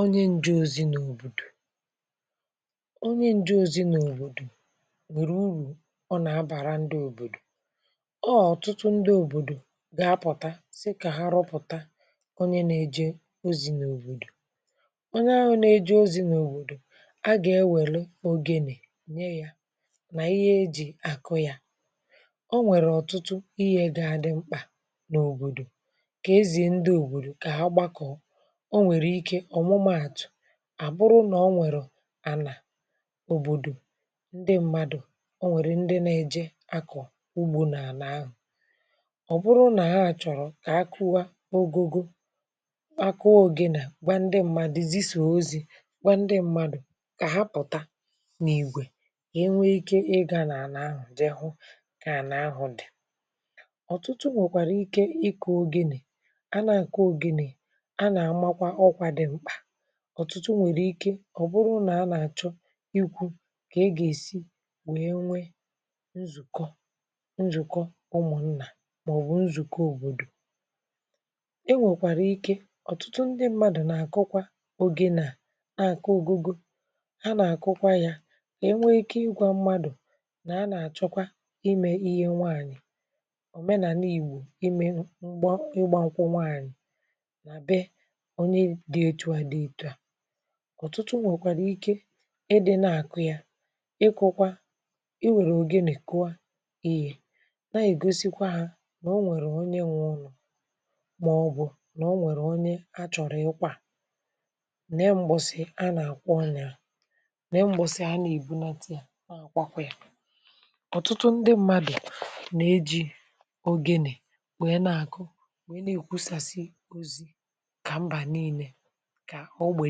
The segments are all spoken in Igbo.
onye ǹjė ozi n’òbòdò onye ǹjė ozi n’òbòdò nwèrè urù ọ nà-abàra ndị òbòdò ọọ̀ ọ̀tụtụ ndị òbòdò gà-apụ̀ta sì kà ha rụpụ̀ta onye nà-èje ozi n’òbòdò ọọ̀ nȧ-ȧhụ̇ nà-èje ozi n’òbòdò a gà-ewère ogėnị̇ nye yȧ nà ihe ejì àkụ yȧ o nwèrè ọ̀tụtụ ihe dị ȧdị̇ mkpà n’òbòdò kà e zìe ndị òbòdò kà ha gbakọ̀ à bụrụ nà o nwèrè à nà òbòdò ndị mmadụ̀ o nwèrè ndị nȧ-ėje akọ̀ ugbȯ nà-ànà ahụ̀ ọ̀ bụrụ nà ha à chọ̀rọ̀ kà akụwa ogugo akụ ogene kwá ndị mmadụ̀ zi sò ozi gba ndị mmadụ̀ kà hapụ̀ta n’ìgwè ga enwe ikė ịgȧ à nà-ànà ahụ̀ jehe ǹkè ànà ahụ̀ dị̀ ọ̀tụtụ màkwàrị ike ikė ogene a na-àkọ oge nì ọ̀tụtụ nwèrè ike ọ̀ bụrụ nà a nà-àchọ ikwu̇ kà e gà-èsi wèe nwe nzùkọ nzùkọ ụmụ̀ nnà màọbụ̀ nzùke òbòdò e nwèkwàrà ike ọ̀tụtụ ndị mmadụ̀ nà-àkụkwa ogėne na-àkọ ogogo a nà-àkụkwa yȧ nà e nwe ike ịgwȧ mmadụ̀ nà a nà-àchọkwa imė ihe nwaànyị̀ òmenà n’ìgbù ime ṁgba ụgbȧ nkwȧ nwaànyị̀ ọ̀tụtụ nwèkwàrà ike ịdị̇ nà-àkụ ya ịkụ̇kwa i nwèrè ògenè kụa èe na-ègosikwa ha nà o nwèrè onye nwe ọnụ̇ màọ̀bụ̀ nà o nwèrè onye a chọ̀rọ̀ ịkwa ne m̀gbọsị̀ a nà-àkwọ nà ne m̀gbọsị̀ a nà-àkwọ tii ọ̀tụtụ ndị mmadụ̀ nà-eji̇ ògenè nwèrè nà-àkụ nwèrè nà-èkwusàsị ozi̇ kà ògbè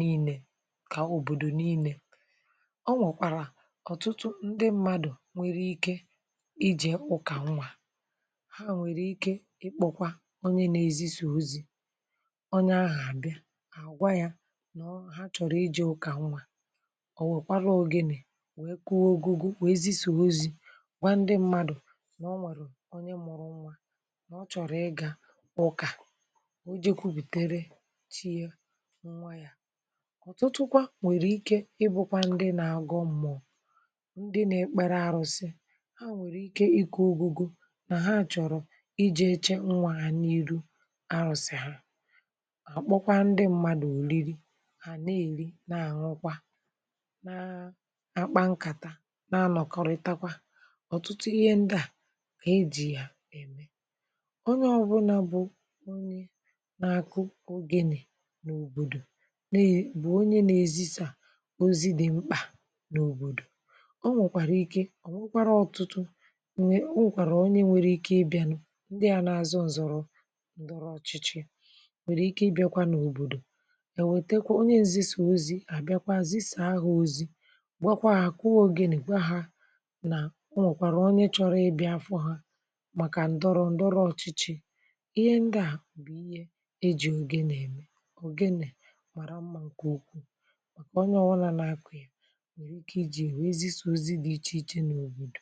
niine kà òbòdò niine ọ nwèkwàrà ọ̀tụtụ ndị mmadụ̀ nwere ike ijė ụkà nnwà ha nwèrè ike ikpȯkwa onye n’èzi sì ozi̇ onye ahụ̀ àbịa àgwà yȧ nà ọ ha chọ̀rọ̀ iji̇ ụkà nnwà òwèkwara ogine wee kụọ ògugu weezi sì ozi̇ gwà ndị mmadụ̀ nà ọ nwèrè onye mọ̀rọ̀ nwa nà ọ chọ̀rọ̀ ịgȧ bụ kà o ji̇ kwupìtere ọ̀tụtụ kwa nwèrè ike ịbụ̇kwa ndị nȧ-agọ̇ mmụ̀ọ̀ ndị nȧ-ekpere ȧrụ̇sị̇ ha nwèrè ike ikė ogugo nà ha àchọ̀rọ̀ ijėche nwa à na-iru arụ̀sị̀ hà àkpọkwa ndị mmadụ̀ òriri hà na-èri na-àṅụkwa na akpa nkàta na-anọ̀kọrịtakwa ọ̀tụtụ ihe ndị à a ejì yà ème onye ọbụna bụ onye na-akụ ogenì n’òbòdò ozi dị̀ mkpà n’òbòdò ọ nwèkwàrà ike ọ̀ wụkwara ọ̀tụtụ o nwèkwàrà onye nwere ike ịbịȧnụ̇ ndị à nà-azọ ụ̀zọ̀rọ̀ ǹdọrọ ọ̀chịchị nwèrè ike ịbịȧkwa n’òbòdò èwètekwa onye ǹzị̀sà ozi̇ à bịakwa zisà ahụ̀ ozi̇ gbakwaa àkụ ogene gwa hȧ nà o nwèkwàrà onye chọrọ ịbịȧ afọ hȧ màkà ǹdọrọ ǹdọrọ ọ̀chịchị ihe ndị à bụ̀ ihe eji̇ ogene-ème kà ọnye ọwụnà na-akụ ya nwere ike ịjị wee zịso ozi dị iche iche n’obodo.